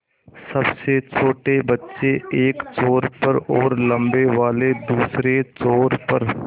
सबसे छोटे बच्चे एक छोर पर और लम्बे वाले दूसरे छोर पर